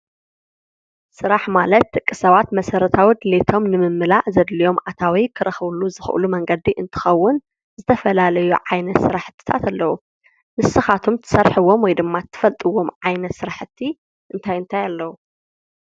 ስራሕ ማለት ደቂ ሰባት መሰረታዊ ድሌቶም ንምምላእ ዘድልዮም ኣታዊ ክረክብሉ ዝክእሉ መንገዲ እንትከዉን ዝተፈላለዩ ዓይነት ስረሓቲታት ኣለዉ ንስካትኩም ትሰርሕዎም ወይ ድማ ትፈልጥዎም ዓይነት ስራሕቲ እንታይ እንታይ ኣለዉ ?